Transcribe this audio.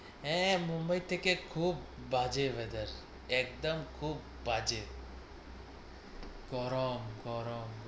আঁ, মুম্বাই থেকে খুব বাজে weather একদম খুব বাজে গরম গরম,